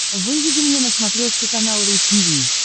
выведи мне на смотрешке канал ру ти ви